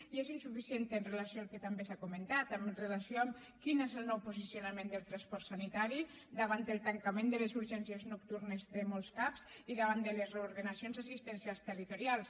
i és insuficient amb relació al que també s’ha comentat amb relació a quin és el nou posicionament del transport sanitari davant el tancament de les urgències nocturnes de molts cap i davant de les reordenacions assistencials territorials